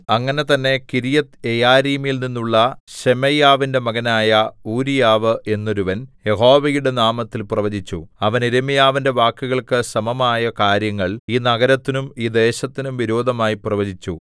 അങ്ങനെ തന്നെ കിര്യത്ത്യെയാരീമിൽനിന്നുള്ള ശെമയ്യാവിന്റെ മകനായ ഊരീയാവ് എന്നൊരുവൻ യഹോവയുടെ നാമത്തിൽ പ്രവചിച്ചു അവൻ യിരെമ്യാവിന്റെ വാക്കുകൾക്കു സമമായ കാര്യങ്ങൾ ഈ നഗരത്തിനും ഈ ദേശത്തിനും വിരോധമായി പ്രവചിച്ചു